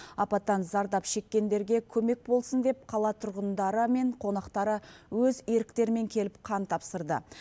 апаттан зардап шеккендерге көмек болсын деп қала тұрғындары мен қонақтары өз еріктерімен келіп қан тапсырды